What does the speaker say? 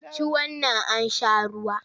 Ci wannan an sha ruwa!